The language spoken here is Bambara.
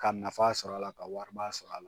Ka nafa sɔr'a la ka wariba sɔr'a la.